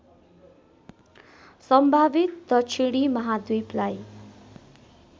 सम्भावित दक्षिणी महाद्वीपलाई